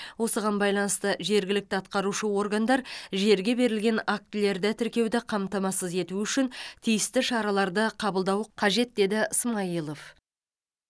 осыған байланысты жергілікті атқарушы органдар жерге берілген актілерді тіркеуді қамтамасыз ету үшін тиісті шараларды қабылдауы қажет деді смайылов